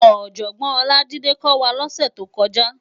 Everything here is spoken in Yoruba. Òjògbòn Olajide kò wá lòsè tókòjá